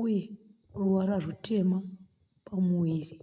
uye ruvara rutema pamuviri.